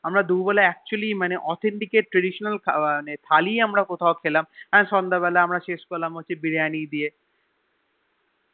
আমরা দুপুর বেলা Actually authentic traditional khabar খালি আমরা কথাও খেলাম সন্ধে বেল শুরুকরল ধরে Biriyani দিয়ে